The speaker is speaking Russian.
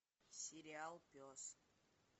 сериал пес